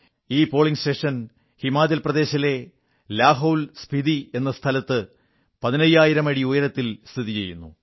ഈ polling station Himachal പ്രദേശിലെ ലാഹോൽസ്പിതി എന്ന യിടത്ത് 15000 അടി ഉയരത്തിൽ സ്ഥിതി ചെയ്യുന്നു